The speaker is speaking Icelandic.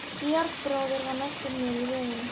Georg bróðir var næstur mér í röðinni.